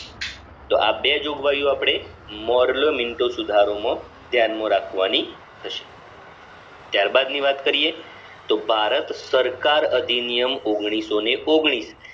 તો આ બે જોગવાઈઓ આપડે મોડલો મિન્ટો સુધારોમાં ધ્યાનમાં રાખવાની થસે ત્યારબાદ ની વાત કરિએ તો ભારત સરકાર અધિનિયમ ઓગણીસો ને ઓગણીસ